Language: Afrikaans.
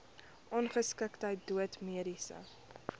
ongeskiktheid dood mediese